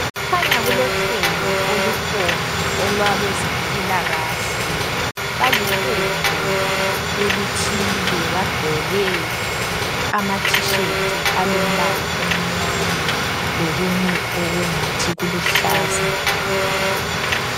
Kukhanya kulohlelo olukhona olwabezempilakahle. Baliqembu elithile bagqoke ama t-shirt alombala omnyama lokunye okungathi kuluhlaza.